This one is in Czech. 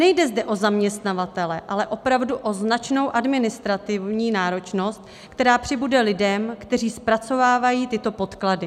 Nejde zde o zaměstnavatele, ale opravdu o značnou administrativní náročnost, která přibude lidem, kteří zpracovávají tyto podklady.